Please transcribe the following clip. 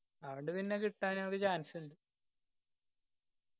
അവോണ്ട് പിന്നെ കിട്ടാൻ നിങ്ങക്ക് chance ഇണ്ട്.